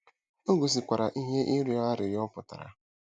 O gosikwara ihe “ịrịọ arịrịọ” pụtara.